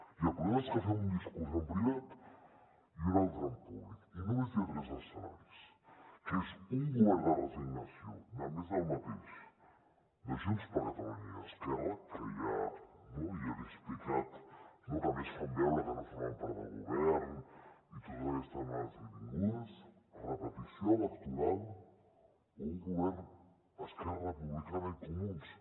i el problema és que fem un discurs en privat i un altre en públic i només hi ha tres escenaris que és un govern de resignació de més del mateix de junts per catalunya i esquerra que ja no ja l’hi he explicat no i a més fan veure que no formen part del govern i totes aquestes anades i vingudes repetició electoral o un govern esquerra republicana i comuns